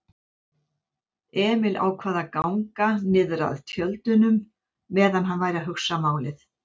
Emil ákvað að ganga niðrað tjöldunum meðan hann væri að hugsa málið.